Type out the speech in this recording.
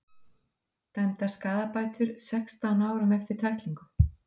Dæmdar skaðabætur sextán árum eftir tæklingu